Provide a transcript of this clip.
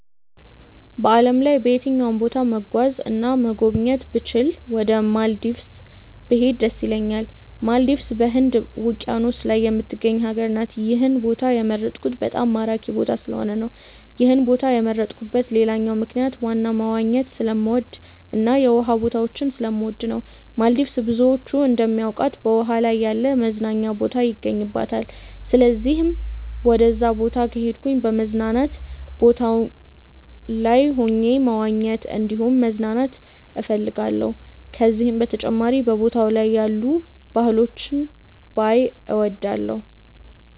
በዓለም ላይ በየትኛውም ቦታ መጓዝ እና መጎብኘት ብችል ወደ ማልዲቭስ ብሄድ ደስ ይለኛል። ማልዲቭስ በህንድ ውቂያኖስ ላይ የምትገኝ ሀገር ናት። ይህን ቦታ የመረጥኩት በጣም ማራኪ ቦታ ስለሆነ ነው። ይህን ቦታ የመረጥኩበት ሌላኛው ምክንያት ዋና መዋኘት ስለምወድ እና የውሃ ቦታዎችን ስለምወድ ነው። ማልዲቭስ ብዙዎች እንደሚያውቁት በውሃ ላይ ያለ መዝናኛ ቦታ ይገኝባታል። ስለዚህም ወደዛ ቦታ ከሄድኩ በመዝናኛ ቦታው ላይ ሆኜ መዋኘት እንዲሁም መዝናናት እፈልጋለሁ። ከዚህም በተጨማሪ በቦታው ላይ ያሉ ባህሎችን ባይ እወዳለሁ።